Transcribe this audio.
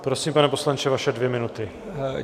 Prosím, pane poslanče, vaše dvě minuty.